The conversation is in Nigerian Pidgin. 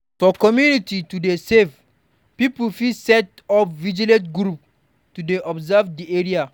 For community to dey safe, pipo fit set up vigilante group to dey observe di area